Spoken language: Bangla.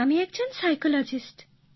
আমি একজন সাইকোলজিস্ট